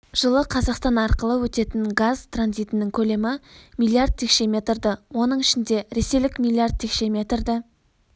жылы қазақстан арқылы өтетін газ транзитінің көлемі миллиард текше метрді оның ішінде ресейлік миллиард текше метрді